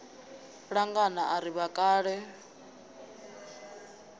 ṋanga i a ri vhakale